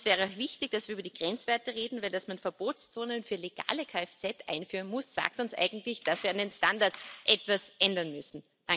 Und es wäre auch wichtig, dass wir über die Grenzwerte reden, denn dass man Verbotszonen für legale Kfz einführen muss, sagt uns eigentlich, dass wir an den Standards etwas ändern müssen.